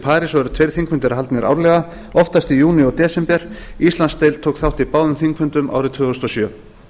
parís og eru tveir þingfundir haldnir árlega oftast í júní og desember íslandsdeild tók þátt í báðum þingfundum árið tvö þúsund og sjö